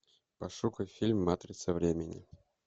пошукай фильм матрица времени